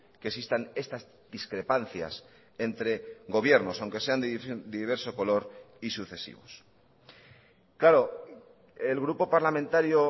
que existan estas discrepancias entre gobiernos aunque sean de diverso color y sucesivos claro el grupo parlamentario